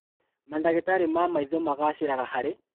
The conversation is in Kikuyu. Mandagĩtarĩ ma maitho magacĩraga harĩ